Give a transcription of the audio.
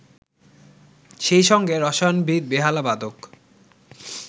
সেই সঙ্গে রসায়নবিদ, বেহালাবাদক